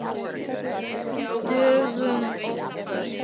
Dögum oftar.